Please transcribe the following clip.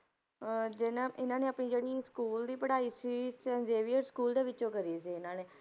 ਅਹ ਤੇ ਨਾ ਇਹਨਾਂ ਨੇ ਆਪਣੀ ਜਿਹੜੀ school ਦੀ ਪੜ੍ਹਾਈ ਸੀ ਸੇਂਟ ਜੇਵੀਅਰ school ਦੇ ਵਿੱਚੋਂ ਕਰੀ ਸੀ ਇਹਨਾਂ ਨੇ।